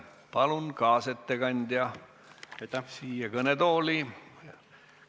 Palun kaasettekandja siia kõnetooli!